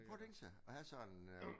Prøv at tænk sig at have sådan øh